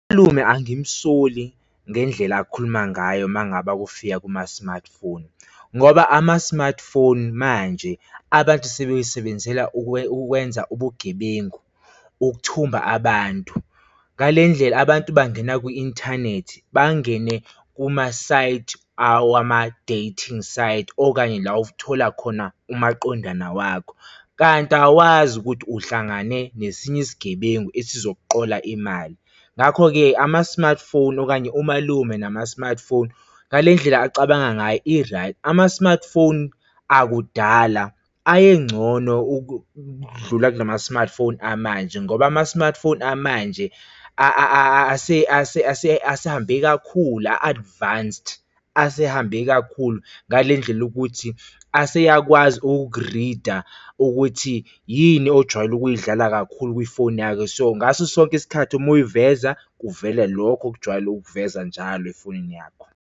Malume angisondli ngendlela akhuluma ngayo uma ngaba kufika kuma-smartphone, ngoba ama-smartphone manje abantu sebewasebenzela ukwenza ubugebengu, ukuthuma abantu. Ngale ndlela abantu bangena kwi-inthanethi, bangene kuma-site wama-dating site okanye la othola khona umaqondana wakho kanti awazi ukuthi uhlangane nesinye isigebengu esizokuqola imali. Ngakho-ke ama-smartphone okanye umalume nama-smartphone, ngale ndlela acabanga ngayo i-right. Ama-smartphone akudala ayengcono ukudlula kula ma-smartphone amanje, ngoba ama-smartphone amanje asehambe kakhulu a-advanced, asehambe kakhulu ngale ndlela yokuthi aseyakwazi ukukurida ukuthi yini ojwayele ukuyidlala kakhulu kwifoni yakho, so, ngaso sonke isikhathi uma uyiveza kuvela lokho okujwayele ukuveza njalo efonini yakho.